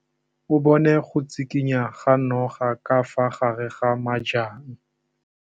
O bone go tshikinya ga noga ka fa gare ga majang.